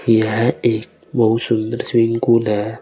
यह एक बहुत सुंदर स्विमिंग पुल है।